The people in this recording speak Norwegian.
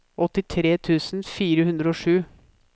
åttitre tusen fire hundre og sju